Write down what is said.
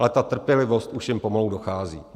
Ale ta trpělivost už jim pomalu dochází.